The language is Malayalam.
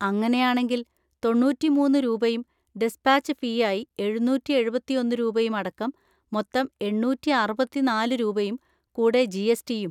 അങ്ങനെയാണെങ്കിൽ തൊണ്ണൂറ്റിമൂന്ന് രൂപയും ഡിസ്പാച്ച് ഫീയായി എഴുന്നൂറ്റി എഴുപത്തിയൊന്ന് രൂപയും അടക്കം മൊത്തം എണ്ണൂറ്റിഅറുപത്തിനാല് രൂപയും കൂടെ ജി. എസ്. ടി.യും.